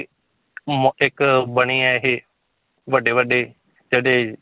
ਮ~ ਇੱਕ ਬਣੇ ਹੈ ਇਹ ਵੱਡੇ ਵੱਡੇ ਜਿਹੜੇ,